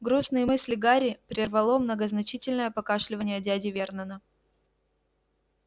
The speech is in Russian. грустные мысли гарри прервало многозначительное покашливание дяди вернона